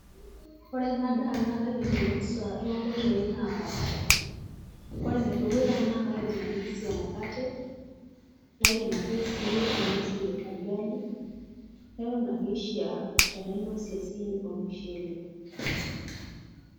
Ore ena daa naa kaidim ainosie toonkoitoi naapasha. Ore enedukuya naa kaidim ainosa emukate naidim ake sii ainosie olrgali neton ake ishaa tenainosie olmushule.